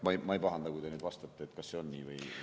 Ma ei pahanda, kui te nüüd vastate, kas see on nii.